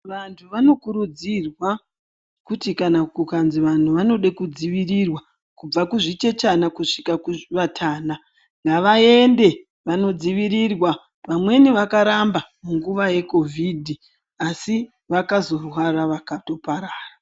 Vantu vanokurudzirwa kuti kana kukanzi vanhu vanode kudzivirirwa kubva kuzvichechana kusvika kuvatana, ngavaende vanodzivirirwa. Vamweni vakaramba munguva yeKovhidhi, asi vakazorwara vakatoparara.